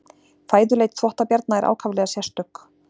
Fæðuleit þvottabjarna er ákaflega sérstök.